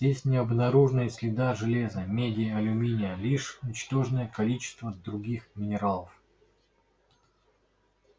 здесь не обнаружено и следа железа меди алюминия лишь ничтожное количество других минералов